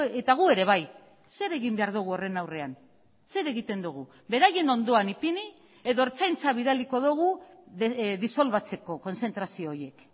eta gu ere bai zer egin behar dugu horren aurrean zer egiten dugu beraien ondoan ipini edo ertzaintza bidaliko dugu disolbatzeko kontzentrazio horiek